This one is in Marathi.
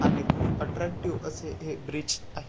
आणि खुप अट्रैक्टिव असे हे ब्रिज आहे.